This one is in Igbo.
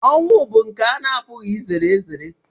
Ọnwụ bụ nke ana-apụghị izere ezere.